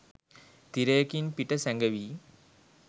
තිරයකින් පිට සැඟවී